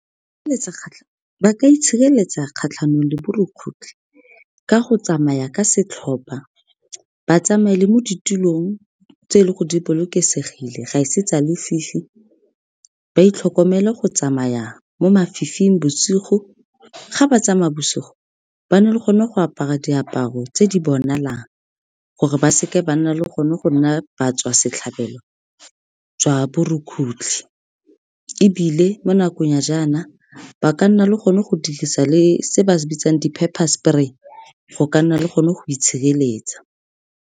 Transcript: Ba ka itshireletsa kgatlhanong le borukgutlhi ka go tsamaya ka setlhopha, ba tsamaye le mo ditulong tse e leng gore di bolokesegile, ga e se tsa lefifi, ba itlhokomele go tsamaya mo mafifing bosigo. Ga ba tsamaya bosigo ba nne le gone go apara diaparo tse di bonalang, gore ba se ke ba nna le gone go nna ba tswa setlhabelo le jwa borukgutlhi. E bile mo nakong ya jaana ba ka nna le gone go dirisa le se ba se bitsang di-pepper spray, go ka nna le gone go itshireletsa.